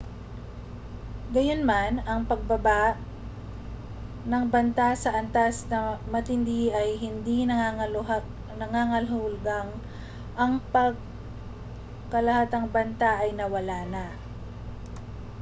gayunman ang pagbaba ng banta sa antas na matindi ay hindi nangangahulugang ang pangkalahatang banta ay nawala na